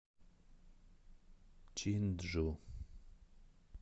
чинджу